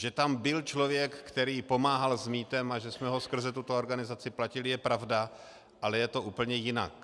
Že tam byl člověk, který pomáhal s mýtem, a že jsme ho skrze tuto organizaci platili, je pravda, ale je to úplně jinak.